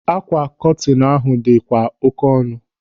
Ákwà kọtinu ahụ dị kwa oké ọnụ.